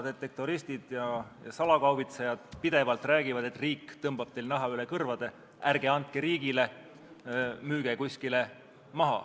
Detektoristid ja salakaubitsejad räägivad pidevalt, et riik tõmbab teil naha üle kõrvade, ärge andke riigile, müüge kuskil maha.